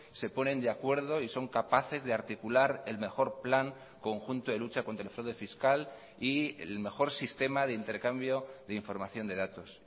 se ponen de acuerdo y son capaces de articular el mejor plan conjunto de lucha contra el fraude fiscal y el mejor sistema de intercambio de información de datos